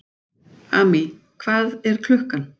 Amý, hvað er klukkan?